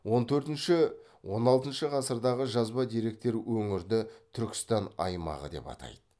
он төртінші он алтыншы ғасырдағы жазба деректер өңірді түркістан аймағы деп атайды